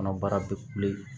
Kɔnɔ baara tɛ kule